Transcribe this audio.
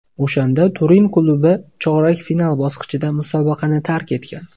O‘shanda Turin klubi chorak final bosqichida musobaqani tark etgan.